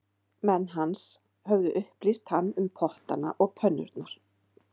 Menn hans höfðu upplýst hann um pottana og pönnurnar